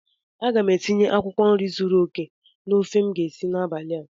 A ga m etinye akwụkwọ nri zuru oke na ofe m ga-esi n'abalị a